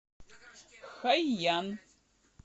хайян